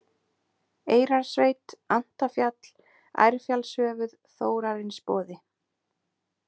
Eyrarsveit, Antafjall, Ærfjallshöfuð, Þórarinsboði